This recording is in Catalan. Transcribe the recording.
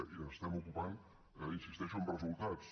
i ens n’estem ocupant hi insisteixo amb resultats